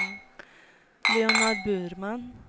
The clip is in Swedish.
Leonard Burman